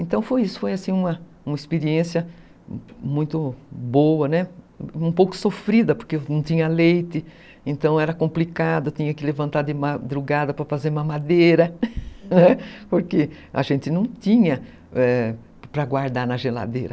Então foi isso, foi uma experiência muito boa, um pouco sofrida, né, porque não tinha leite, então era complicado, tinha que levantar de madrugada para fazer mamadeira, porque a gente não tinha para guardar na geladeira.